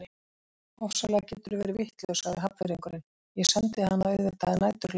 Ofsalega geturðu verið vitlaus sagði Hafnfirðingurinn, ég sendi hana auðvitað að næturlagi